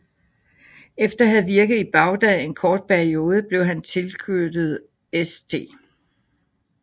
Efter at have virket i Bagdad en kort periode blev han tilknyttet St